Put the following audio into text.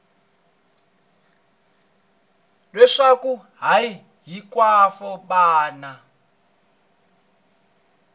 leswaku a hi hinkwavo vana